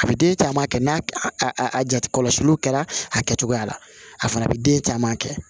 A bɛ den caman kɛ n'a a jati kɔlɔsiliw kɛra a kɛcogoya la a fana bɛ den caman kɛ